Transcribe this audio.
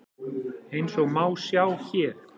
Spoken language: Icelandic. Eins og má sjá hér.